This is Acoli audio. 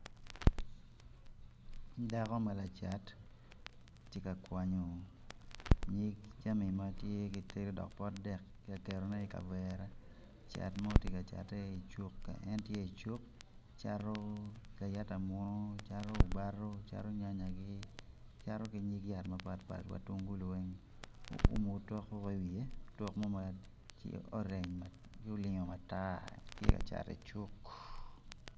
Dako ma tye lacat tye ka kwanyo nyig jami dok kelo pot dek tye ka ketone i kavere cat mo tye ka cate i cuk en tye i cuk cato layata muno obato cato nyanyagi cato ki nyig yat mapatpat wa mutungulu weng.